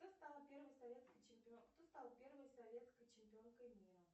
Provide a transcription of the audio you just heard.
кто стал первой советской чемпионкой мира